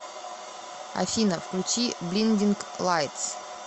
афина включи блиндинг лайтс